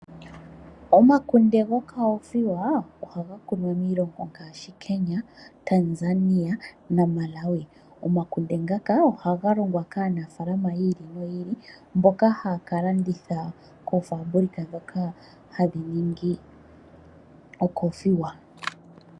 Omakunde gokoothiwa ohaga kunwa miilongo ngaashi Kenya, Tanzania na Malawi. Omakunde ngaka ohaga longwa kaanafaalama yi ili noyi ili, mboka haaka landitha koofabulika ndhoka hadhi ningi ookothiwa.